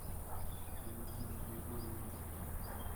валентина григорьева